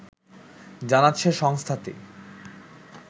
জানাচ্ছে সংস্থাটি